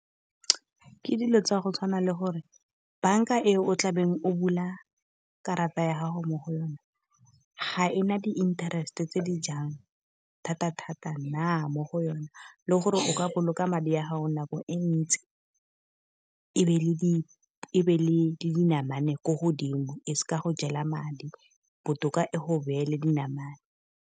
Ke dilo tsa go tshwana le gore bank-a e o tlabeng o bula karata ya gago mo go yona, ga ena di-interest-e tse di jang thata-thata na mo go yone. Le gore o ka boloka madi a gago nako e ntsi, e be e be le dinamane ko godimo e sa go jela madi botoka e go beele dinamane.